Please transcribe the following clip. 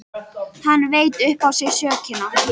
Hann veit upp á sig sökina.